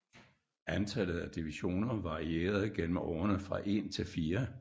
Antallet af divisioner varierede gennem årene fra en til fire